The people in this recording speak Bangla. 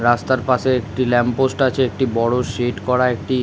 রাস্তার পাশে একটি ল্যাম্প পোস্ট আছে একটি বড়ো শেড করা একটি--